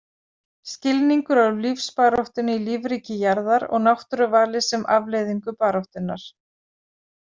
Skilningur á lífsbaráttunni í lífríki jarðar og náttúruvali sem afleiðingu baráttunnar.